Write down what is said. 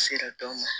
Sera dɔ ma